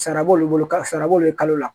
Sara b'olu bolo ka sara b'olu kalo la